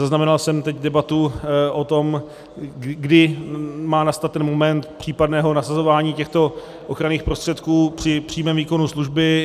Zaznamenal jsem teď debatu o tom, kdy má nastat ten moment případného nasazování těchto ochranných prostředků při přímém výkonu služby.